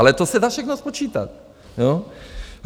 Ale to se dá všechno spočítat.